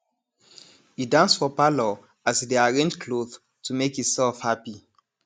e dance for parlour as e dey arrange cloth to make e self hapi